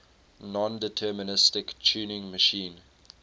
nondeterministic turing machine